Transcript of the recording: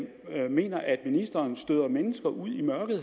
jeg mener at ministeren støder ældre mennesker ud i mørket